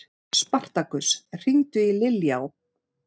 Spartakus, hringdu í Liljá.